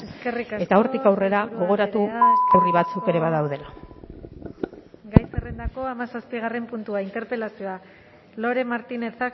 eta hortik aurrera gogoratu herri batzuk ere badaudela eskerrik asko sailburu andrea gai zerrendako hamazazpigarren puntua interpelazioa lore martinez